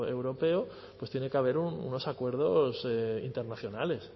europeo pues tiene que haber unos acuerdos internacionales